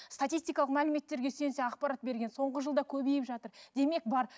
статистикалық мәліметтерге сүйенсе ақпарат берген соңғы жылда көбейіп жатыр демек бар